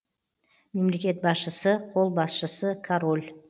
мемлекет басшысы қолбасшысы король